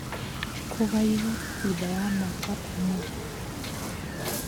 Kũgaywo - thutha wa mwaka ũmwe